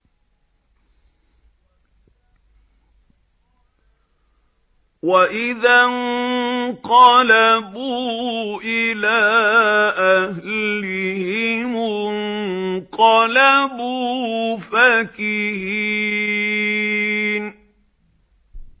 وَإِذَا انقَلَبُوا إِلَىٰ أَهْلِهِمُ انقَلَبُوا فَكِهِينَ